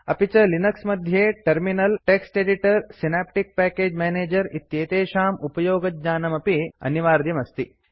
अपि च लिनक्स मध्ये terminal text editor Synaptic package manager इत्येतेषाम् उपयोगज्ञानमपि अनिवार्यमस्ति